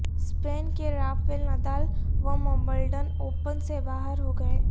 سپین کے Rafael Nadal Wimbledon open سے باہر ہو گئے